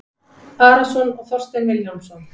Arason og Þorstein Vilhjálmsson